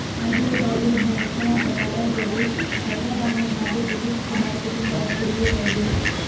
ಹಾಗೆಯೇ ಬಾಲಿವುಡ್ನ ಹೆಸರಾಂತ ತಾರಾ ಜೋಡಿ ಸೈರಾ ಭಾನು ಹಾಗೂ ದಿಲೀಪ್ ಕುಮಾರ್ ಕುಟುಂಬದ ಕುಡಿಯೂ ಹೌದು